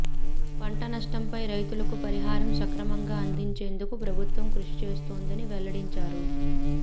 పంట నష్టంపై రైతులకు పరిహారం సక్రమంగా అందించేందుకు ప్రభుత్వం కృషి చేస్తోందని వెల్లడించారు